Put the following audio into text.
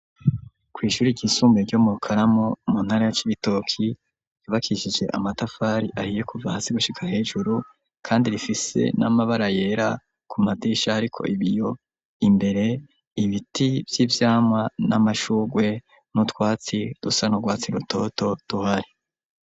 Kw'ishuri ryisumbuye ryo mu Rukaramu muntara ya Cibitoke, yubakishije amatafari ahiye kuva hasi gushika hejuru, kandi rifise n'amabara yera, ku madisha ariko ibiyo, imbere ibiti vy'ivyamwa, n'amashugwe, n'utwatsi dusa n'urwatsi rutoto duhari.